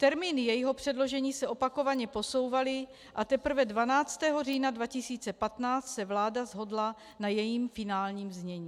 Termíny jejího předložení se opakovaně posouvaly a teprve 12. října 2015 se vláda shodla na jejím finálním znění.